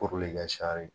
Kori ka sari